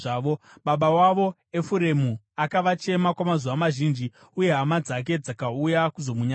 Baba wavo Efuremu akavachema kwamazuva mazhinji uye hama dzake dzakauya kuzomunyaradza.